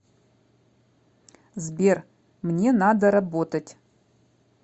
сбер мне надо работать